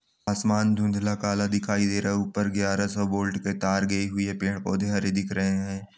आसमान धुँधला काला दिखाई दे रहा है ऊपर ग्याहर सौ वोल्ट कि तार गई हुई है पेड़-पौधे हरे दिख रहे हैं।